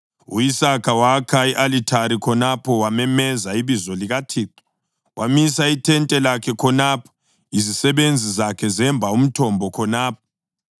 U-Isaka wakha i-Alithari khonapho wamemeza ibizo likaThixo. Wamisa ithente lakhe khonapho, izisebenzi zakhe zemba umthombo khonapho.